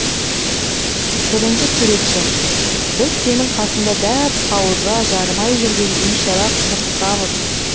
бірінші суретші біз сенің қасыңда дәп қауызға жарымай жүрген бейшара құмырсқамыз